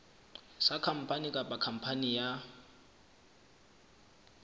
sa khampani kapa khampani ya